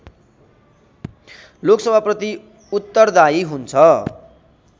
लोकसभाप्रति उत्‍तरदायी हुन्छ